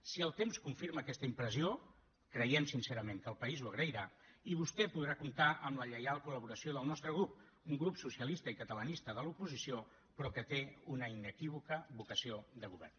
si el temps confirma aquesta impressió creiem sincerament que el país ho agrairà i vostè podrà comptar amb la lleial col·laboració del nostre grup un grup socialista i catalanista de l’oposició però que té una inequívoca vocació de govern